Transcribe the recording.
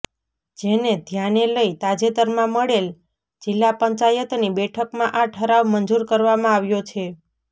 જેને ધ્યાને લઈ તાજેતરમાં મળેલ જિલ્લા પંચાયતની બેઠકમાં આ ઠરાવ મંજુર કરવામાં આવ્યો છે